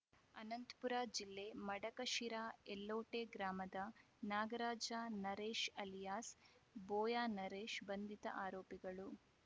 ಅನಂತಪುರ ಜಿಲ್ಲೆ ಮಡಕಶಿರಾದ ಎಲ್ಲೋಟೆ ಗ್ರಾಮದ ನಾಗರಾಜ ನರೇಶ ಅಲಿಯಾಸ್‌ ಬೋಯಾನರೇಶ ಬಂಧಿತ ಆರೋಪಿಗಳು